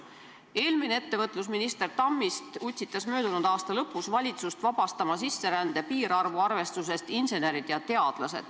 Eelmine ettevõtlusminister Tammist utsitas möödunud aasta lõpus valitsust sisserände piirarvu arvestusest välja arvama insenerid ja teadlased.